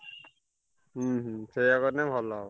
ହୁଁ ହୁଁ ସେୟା କଲେ ଭଲ ହବ।